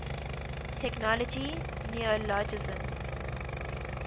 technology neologisms